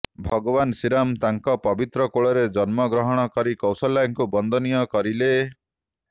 ଭଗବାନ ଶ୍ରୀରାମ ତାଙ୍କ ପବିତ୍ର କୋଳରେ ଜନ୍ମ ଗ୍ରହଣ କରି କୌଶଲ୍ୟାଙ୍କୁ ବନ୍ଦନୀୟ କରିଲେ